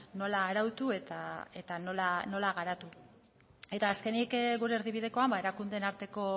nola arautu eta nola garatu eta azkenik gure erdibidekoan erakundeen arteko